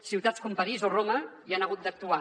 ciutats com parís o roma hi han hagut d’actuar